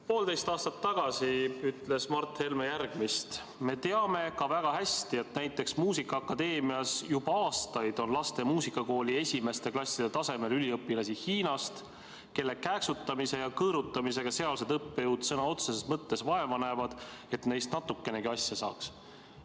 Poolteist aastat tagasi ütles Mart Helme järgmist: "Me teame ka väga hästi, et näiteks muusikaakadeemias on juba aastaid lastemuusikakooli esimeste klasside tasemel üliõpilasi Hiinast, kelle kääksutamise ja kõõrutamisega sealsed õppejõud sõna otseses mõttes vaeva näevad, et neist natukenegi asja saaks.